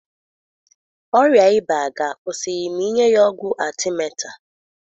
Ọrịa ịba ga akwusi ma ịnye ya ọgwụ arthemether